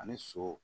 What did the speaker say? Ani so